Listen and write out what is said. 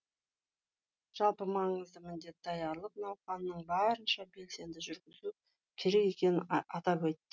жалпы маңызды міндет даярлық науқанын барынша белсенді жүргізу керек екенін атап айтты